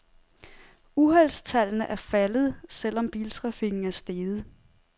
Uheldstallene er faldet, selv om biltrafikken er steget.